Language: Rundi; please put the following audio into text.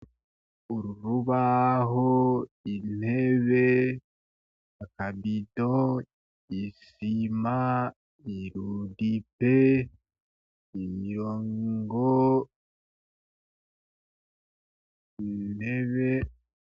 Urubaho, Intebe, akabido, Isima, Irudipe, Imyango, Intebe